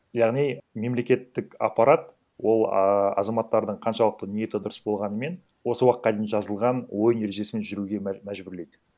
яғни мемлекеттік аппарат ол ааа азаматтардың қаншалықты ниеті дұрыс болғанымен осы уақытқа дейін жазылған ойын ережесімен жүруге мәжбүрлейді